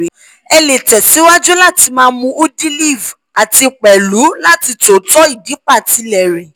ẹ lè tẹ̀síwájú láti máa mún udiliv àti pẹ̀lú láti tótó ìdípatílẹ̀ rè